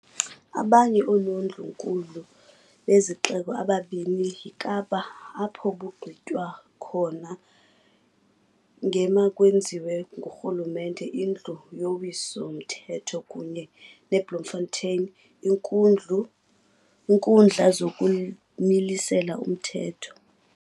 Abanye oonondlu-nkulu bezixeko ababini yiKapa apho kugqitywa khona ngemakwenziwe ngurhulumente, indlu yowiso-mthetho, kunye neBloemfontein, iinkundla zokumilisela umthetho.